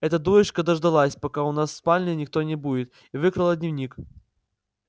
эта дурочка дождалась пока у вас в спальне никого не будет и выкрала дневник